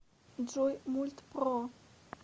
джой мульт про